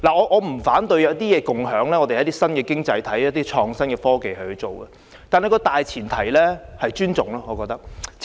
我不反對共享——一些新經濟行業可利用創新科技這樣做——但大前提是互相尊重。